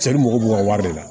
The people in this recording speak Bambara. Cɛ mago b'u ka wari de la